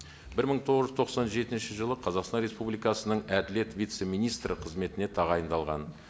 бір мың тоғыз жүз тоқсан жетінші жылы қазақстан республикасының әділет вице министрі қызметіне тағайындалған